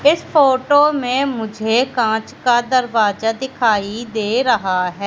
इस फोटो में मुझे कांच का दरवाजा दिखाई दे रहा है।